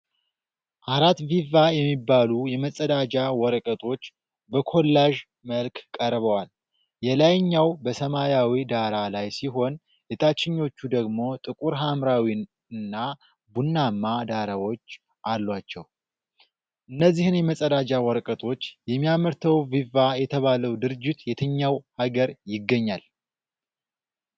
አራት ቪቫ የሚባሉ የመጸዳጃ ወረቀቶች በኮላዥ መልክ ቀርበዋል። የላይኛው በሰማያዊ ዳራ ላይ ሲሆን፣ የታችኞቹ ደግሞ ጥቁር ሐምራዊ እና ቡናማ ዳራዎች አሏቸው። እነዚህን የመጸዳጃ ወረቀቶች የሚያመርተው ቪቫ የተባለው ድርጅት የትኛው ሀገር ይገኛል?